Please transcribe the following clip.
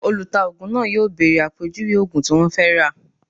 Olùtaògùn náà yóò bèrè àpèjúwe ògùn tí wọ́n fẹ́ rà